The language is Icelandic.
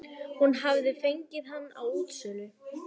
Hún hafði fengið hann á útsölu.